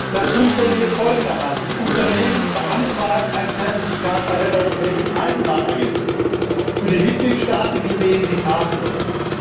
Das funktioniert folgendermaßen Die Unternehmen beantragen ein Zertifikat bei der Europäischen Eisenbahnagentur für die Mitgliedstaaten, in denen sie fahren sollen.